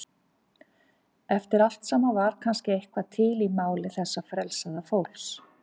Eftir allt saman var kannski eitthvað til í máli þessa frelsaða fólks.